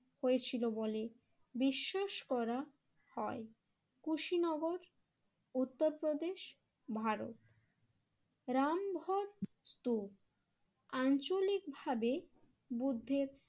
হয়েছিল বলে বিশ্বাস করা হয়। কুশীনগর উত্তর প্রদেশ ভারত রামঘর স্তুপ আঞ্চলিকভাবে বুদ্ধের